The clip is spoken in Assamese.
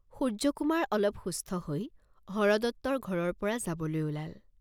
সূৰ্য্যকুমাৰ অলপ সুস্থ হৈ হৰদত্তৰ ঘৰৰ পৰা যাবলৈ ওলাল।